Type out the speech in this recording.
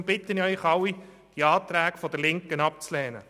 Deswegen bitte ich Sie, alle Anträge der Linken abzulehnen.